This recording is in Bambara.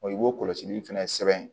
i b'o kɔlɔsili fɛnɛ sɛbɛn